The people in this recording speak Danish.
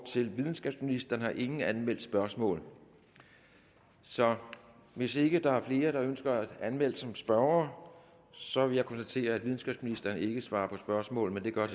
til videnskabsministeren har ingen anmeldt spørgsmål så hvis ikke der er flere der ønsker at anmelde sig som spørgere så vil jeg konstatere at videnskabsministeren ikke svarer på spørgsmål men det gør